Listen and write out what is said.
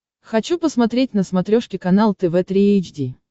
хочу посмотреть на смотрешке канал тв три эйч ди